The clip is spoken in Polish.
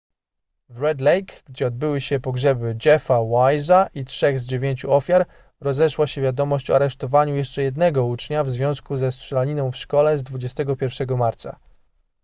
w red lake gdzie obyły się pogrzeby jeffa wise'a i trzech z dziewięciu ofiar rozeszła się wiadomość o aresztowaniu jeszcze jednego ucznia w związku ze strzelaniną w szkole z 21 marca